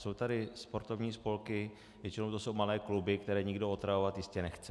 Jsou tady sportovní spolky, většinou to jsou malé kluby, které nikdo otravovat jistě nechce.